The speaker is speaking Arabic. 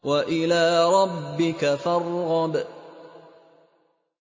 وَإِلَىٰ رَبِّكَ فَارْغَب